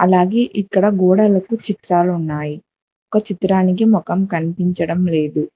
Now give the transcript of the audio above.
అలాగే ఇక్కడ గోడలకు చిత్రాలు ఉన్నాయి ఒక చిత్రానికి మొఖం కనిపించడం లేదు.